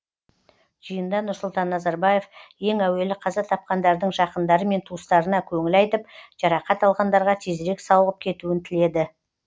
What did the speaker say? жиында нұрсұлтан назарбаев ең әуелі қаза тапқандардың жақындары мен туыстарына көңіл айтып жарақат алғандарға тезірек сауығып кетуін тіледі